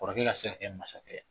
Kɔrɔkɛ ka se ka kɛ masa kɛ ye.